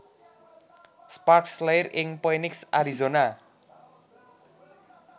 Sparks lair ing Phoenix Arizona